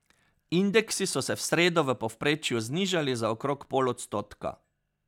Indeksi so se v sredo v povprečju znižali za okrog pol odstotka.